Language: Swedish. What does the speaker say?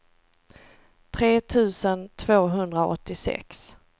tre tusen tvåhundraåttiosex